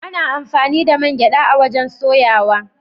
Ana amfani da man gyada a'wajen soyawa.